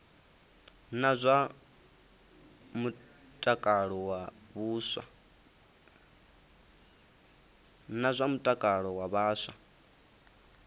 na zwa mutakalo wa vhaswa